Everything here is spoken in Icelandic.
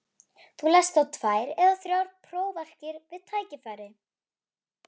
Þú lest þá tvær eða þrjár prófarkir við tækifæri.